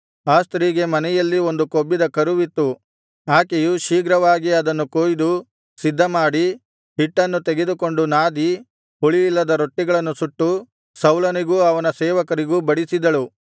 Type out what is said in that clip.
ಆ ಸ್ತ್ರೀಗೆ ಮನೆಯಲ್ಲಿ ಒಂದು ಕೊಬ್ಬಿದ ಕರುವಿತ್ತು ಆಕೆಯು ಶೀಘ್ರವಾಗಿ ಅದನ್ನು ಕೊಯ್ದು ಸಿದ್ಧಮಾಡಿ ಹಿಟ್ಟನ್ನು ತೆಗೆದುಕೊಂಡು ನಾದಿ ಹುಳಿಯಿಲ್ಲದ ರೊಟ್ಟಿಗಳನ್ನು ಸುಟ್ಟು ಸೌಲನಿಗೂ ಅವನ ಸೇವಕರಿಗೂ ಬಡಿಸಿದಳು